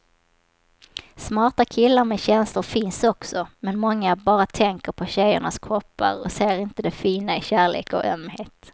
Smarta killar med känslor finns också, men många bara tänker på tjejernas kroppar och ser inte det fina i kärlek och ömhet.